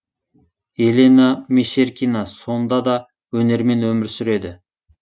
елена мещеркина сонда да өнермен өмір сүреді